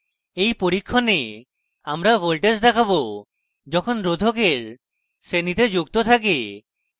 in পরীক্ষণে আমরা voltage দেখাবো যখন রোধকের শ্রেণীতে যুক্ত থাকে